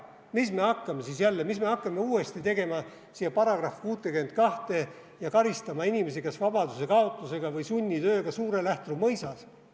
Mis me hakkame siis jälle uuesti tegema siia § 62 ja karistama inimesi kas vabadusekaotuse või sunnitööga Suure-Lähtru mõisas?